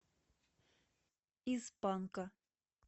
из панка